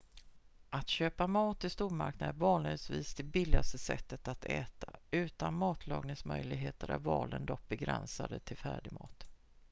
att köpa mat i stormarknader är vanligtvis det billigaste sättet att äta utan matlagningsmöjligheter är valen dock begränsade till färdigmat